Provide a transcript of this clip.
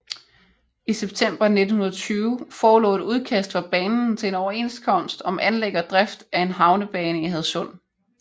I september 1920 forelå et udkast fra banen til en overenskomst om anlæg og drift af en havnebane i Hadsund